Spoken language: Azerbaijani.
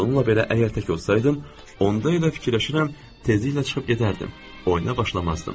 Bununla belə, əgər tək olsaydım, onda elə fikirləşirəm tezliklə çıxıb gedərdim, oyuna başlamazdım.